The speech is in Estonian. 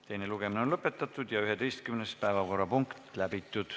Teine lugemine on lõpetatud ja ka 11. päevakorrapunkt läbitud.